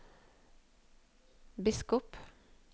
biskop